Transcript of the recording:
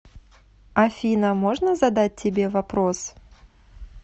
афина можно задать тебе вопрос